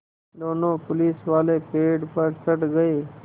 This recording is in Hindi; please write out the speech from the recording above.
दोनों पुलिसवाले पेड़ पर चढ़ गए